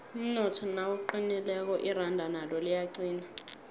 umnotho nawuqinileko iranda nalo liyaqina